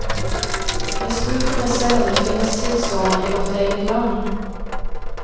Jeg spurte meg selv om det finnes tilsvarende i vårt eget land.